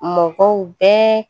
Mɔgɔw bɛɛ